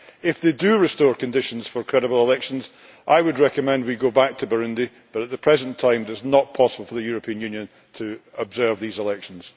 If they do restore conditions for credible elections I would recommend we go back to Burundi, but at the present time it is not possible for the European Union to observe these elections.